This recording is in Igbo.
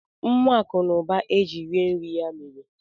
Nwa Akụ na ụba e ji rie nri ya mere?